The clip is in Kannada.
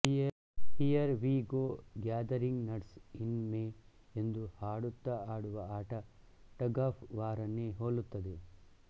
here we go gathering nuts in May ಎಂದು ಹಾಡುತ್ತ ಆಡುವ ಆಟ ಟಗ್ ಆಫ್ ವಾರನ್ನೇ ಹೋಲುತ್ತದೆ